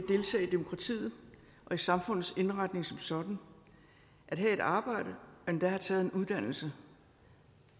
demokratiet og i samfundets indretning som sådan at have et arbejde og endda at have taget en uddannelse